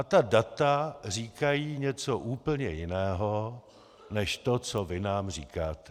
A ta data říkají něco úplně jiného než to, co vy nám říkáte.